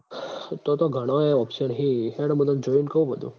તો તો ઘણાંય option હી હેડ મું તન જોઈન કઉં બધું